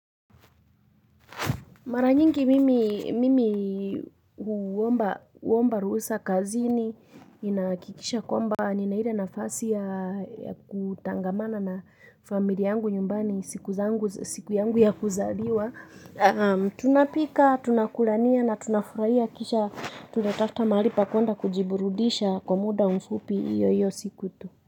Mara nyingi mimi huomba ruhusa kazini, ninahakikisha kwamba, nina ile nafasi ya kutangamana na familia yangu nyumbani siku yangu ya kuzaliwa. Tunapika, tunakulania na tunafurahia kisha tunatafuta mahali pa kuenda kujiburudisha kwa muda mfupi iyo iyo siku tu.